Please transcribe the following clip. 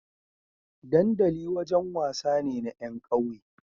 dandali wajan wasa ne na yan ƙauye